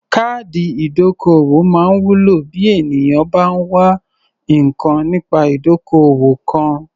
Káàdì ìdókòwó máa ń wúlò bí ènìyàn bá ń wá nǹkan nípa ìdókòwò kan.